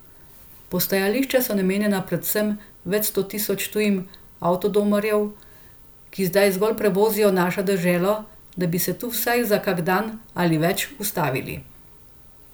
Postajališča so namenjena predvsem več sto tisoč tujim avtodomarjev, ki zdaj zgolj prevozijo našo deželo, da bi se tu vsaj za kak dan ali več ustavili.